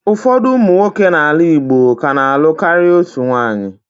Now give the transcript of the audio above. Ụfọdụ ụmụ nwoke n'ala Igbo ka na-alụ karịa otu nwunye.